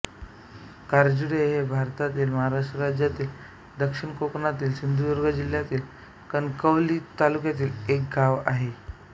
काजिर्डे हे भारतातील महाराष्ट्र राज्यातील दक्षिण कोकणातील सिंधुदुर्ग जिल्ह्यातील कणकवली तालुक्यातील एक गाव आहे